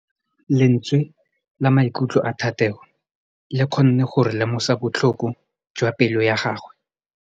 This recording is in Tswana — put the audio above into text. Lentswe la maikutlo a Thategô le kgonne gore re lemosa botlhoko jwa pelô ya gagwe.